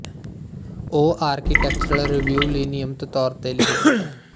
ਉਹ architectural review ਲਈ ਨਿਯਮਿਤ ਤੌਰ ਤੇ ਲਿਖਦੀ ਹੈ